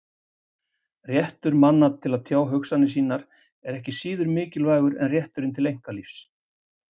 Réttur manna til að tjá hugsanir sínar er ekki síður mikilvægur en rétturinn til einkalífs.